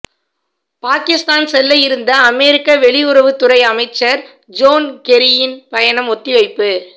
பாகிஸ்தான் செல்ல இருந்த அமெரிக்க வெளியுறவுத்துறை அமைச்சர் ஜோன் கெரியின் பயணம் ஒத்திவைப்பு